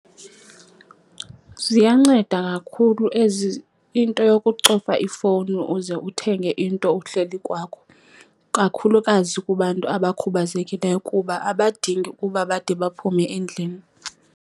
Ziyanceda kakhulu ezi, into yokucofa ifowuni uze uthenge into uhleli kwakho, kakhulukazi kubantu abakhubazekileyo kuba abadingi ukuba bade baphume endlini.